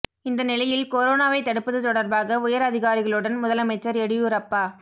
இந்த நிலையில் கொரோனாவை தடுப்பது தொடர்பாக உயர் அதிகாரிகளுடன் முதலமைச்சர் எடியூரப்பா